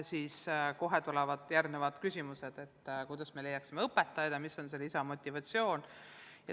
Ja kohe tulevad järgmised küsimused, kuidas me leiaksime õpetajaid ja mis on see lisamotivatsioon.